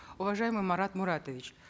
уважаемый марат муратович